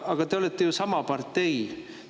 Aga te olete ju sama partei!